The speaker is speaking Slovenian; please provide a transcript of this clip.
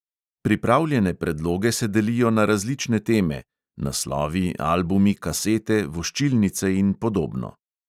Pripravljene predloge se delijo na različne teme (naslovi, albumi, kasete, voščilnice in podobno).